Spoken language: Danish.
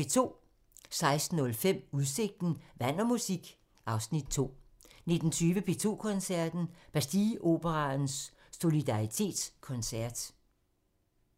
16:05: Udsigten – Vand og musik (Afs. 2) 19:20: P2 Koncerten – Bastilleoperaens Solidaritetskoncert